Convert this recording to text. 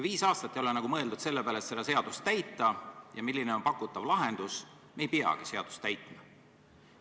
Viis aastat ei olnud mõeldud selleks, et selle aja jooksul seda seadust mitte täita ja leida lahendus, kuidas saavutada, et seadust ei peagi täitma.